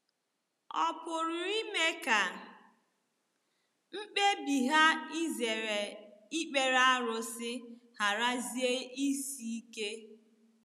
Ọ̀ pụrụ ime ka mkpebi ha izere ikpere arụsị gharazie isi ike?